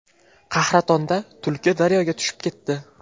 Qahratonda tulki daryoga tushib ketdi.